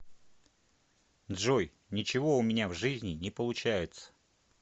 джой ничего у меня в жизни не получается